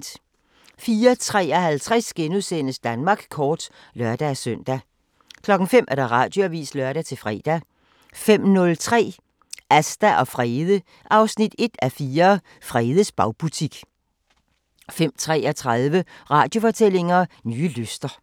04:53: Danmark kort *(lør-søn) 05:00: Radioavisen (lør-fre) 05:03: Asta og Frede 1:4 – Fredes bagbutik 05:33: Radiofortællinger: Nye lyster